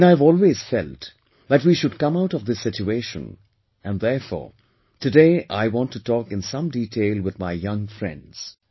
And I have always felt that we should come out of this situation and, therefore, today I want to talk in some detail with my young friends